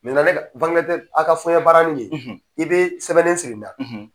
ne ka aw ka fɔyɛn barani nin i bɛ sɛbɛnden siri ni na.